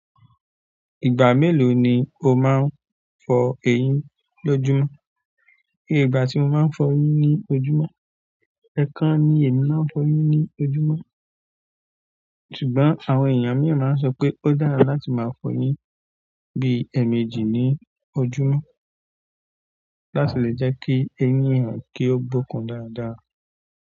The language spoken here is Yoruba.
Ìgbà mélòó ni o máa ń fọ eyín lójúmọ́? Oye ìgbà tí mo máa ń fọ eyín ní ojúmọ́, ẹẹkan ni èmi máa ń fọ eyín ní ojúmọ́. Ṣùgbọ́n àwọn èèyàn mìí máa n sọ pé ó dára láti máa fọ eyín bí i èèmejì ní ojúmọ́ láti lè jẹ́ kí eyín èèyàn kí ó bókùn dáadáa.